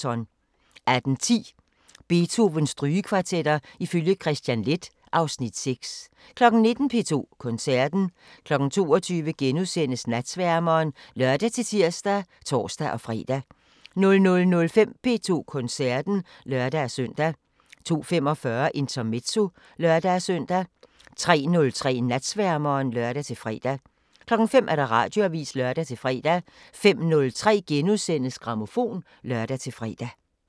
18:10: Beethovens Strygekvartetter ifølge Kristian Leth (Afs. 6) 19:00: P2 Koncerten 22:00: Natsværmeren *(lør-tir og tor-fre) 00:05: P2 Koncerten (lør-søn) 02:45: Intermezzo (lør-søn) 03:03: Natsværmeren (lør-fre) 05:00: Radioavisen (lør-fre) 05:03: Grammofon *(lør-fre)